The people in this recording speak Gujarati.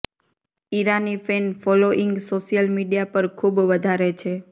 Irani fan following social media પર ખૂવ વધારે છે